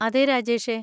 അതെ, രാജേഷേ.